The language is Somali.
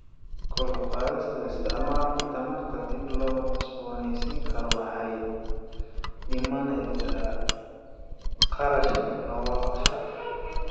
Kor u qaadida isticmaalka tamarta dib loo cusbooneysiin karo waxay dhimaysaa kharashka nolosha.